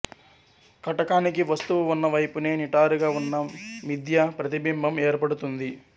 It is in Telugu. కటకానికి వస్తువు ఉన్నవైపునే నిటారుగా ఉన్న మిధ్యా ప్రతింబింబం ఏర్పడుతుంది